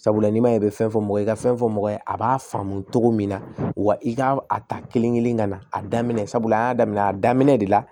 Sabula n'i ma ɲɛ i bɛ fɛn fɔ mɔgɔ ye i ka fɛn fɔ mɔgɔ ye a b'a faamu cogo min na wa i k'a a ta kelen kelen ka na a daminɛ sabula an y'a daminɛ a daminɛ de la